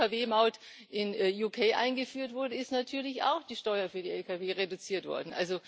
Als die Lkw Maut in UK eingeführt wurde, ist natürlich auch die Steuer für die Lkw reduziert worden.